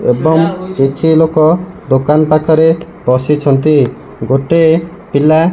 ଏବଂ କିଛି ଲୋକ ଦୋକାନ ପାଖରେ ବସିଛନ୍ତି ଗୋଟେ ପିଲା ।